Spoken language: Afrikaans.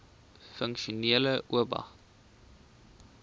funksionele oba